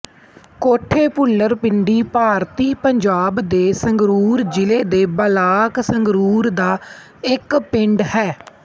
ਕੋਠੇ ਭੁੱਲਰ ਪਿੰਡੀ ਭਾਰਤੀ ਪੰਜਾਬ ਦੇ ਸੰਗਰੂਰ ਜ਼ਿਲ੍ਹੇ ਦੇ ਬਲਾਕ ਸੰਗਰੂਰ ਦਾ ਇੱਕ ਪਿੰਡ ਹੈ